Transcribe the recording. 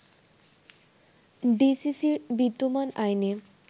ডিসিসির বিদ্যমান আইনে